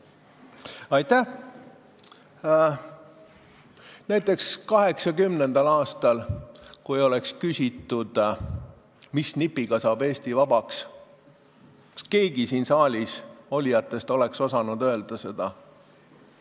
Kui näiteks 1980. aastal oleks küsitud, mis nipiga saab Eesti vabaks, kas keegi siin saalis olijatest oleks osanud seda öelda?